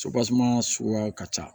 suguya ka ca